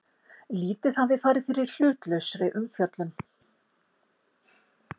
Lítið hafi farið fyrir hlutlausri umfjöllun